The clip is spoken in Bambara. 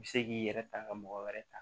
I bɛ se k'i yɛrɛ ta ka mɔgɔ wɛrɛ ta